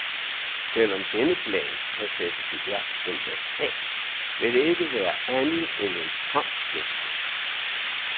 Selv om denne plan kan sættes i værk den dag i dag, vil det ikke være andet end en tom gestus.